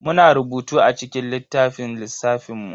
Muna rubutu a cikin littafin lissafin mu.